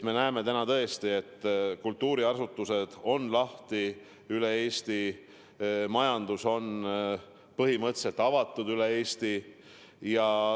Me näeme täna tõesti, et kultuuriasutused on lahti üle Eesti, majandus on põhimõtteliselt avatud üle Eesti.